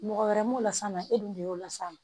Mɔgɔ wɛrɛ m'o las'a ma e dun de y'o las'a ma